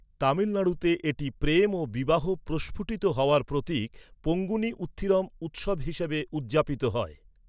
তামিলনাড়ুতে, এটি প্রেম ও বিবাহ প্রস্ফুটিত হওয়ার প্রতীক, পঙ্গুনি উত্থিরম উৎসব হিসাবে উদযাপিত হয়।